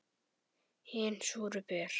Hin súru ber.